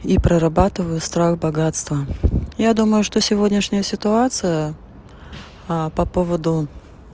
и прорабатываю страх богатства я думаю что сегодняшняя ситуация по поводу